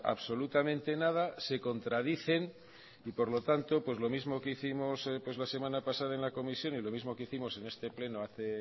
absolutamente nada se contradicen y por lo tanto pues lo mismo que hicimos la semana pasada en la comisión y lo mismo que hicimos en este pleno hace